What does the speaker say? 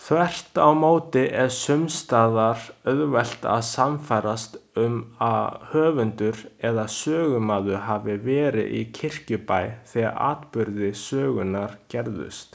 Þvert á móti er sums staðar auðvelt að sannfærast um að höfundur eða sögumaður hafi verið í Kirkjubæ þegar atburðir sögunnar gerðust.